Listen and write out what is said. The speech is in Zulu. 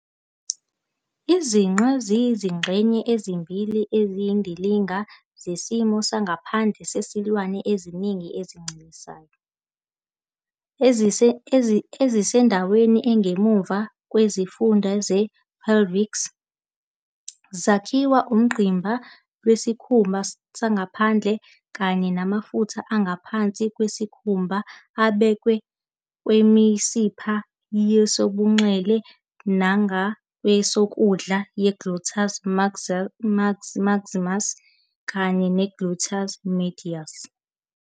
Izinqe ziyizingxenye ezimbili eziyindilinga zesimo sangaphandle sezilwane eziningi ezincelisayo, ezisendaweni engemuva kwesifunda se-pelvic. Zakhiwa ungqimba lwesikhumba sangaphandle kanye namafutha angaphansi kwesikhumba abekwe kwimisipha yesobunxele nangakwesokudla ye-gluteus maximus kanye ne-gluteus medius.